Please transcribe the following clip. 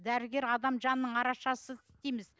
дәрігер адам жанының арашасы дейміз